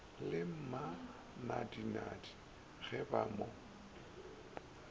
le mmanadinadi ge ba mo